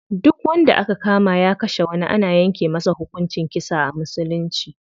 Duk wanda aka kama ya kashe wani ana yanke masa hukuncin kisa a musulunci.